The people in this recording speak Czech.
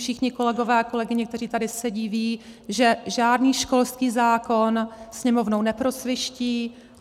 Všichni kolegové a kolegyně, kteří tady sedí, vědí, že žádný školský zákon Sněmovnou neprosviští.